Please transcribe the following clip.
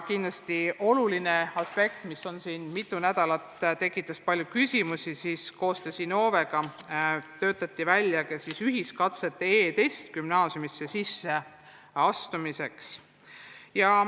Kindlasti üks oluline aspekt, mis siin mitu nädalat palju küsimusi on tekitanud, on koostöös Innovega välja töötatud ühiskatsete e-test gümnaasiumisse sisseastumiseks.